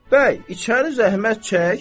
Bəy, içəri zəhmət çək.